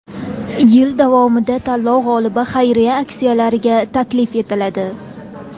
Yil davomida tanlov g‘olibi xayriya aksiyalariga taklif etiladi.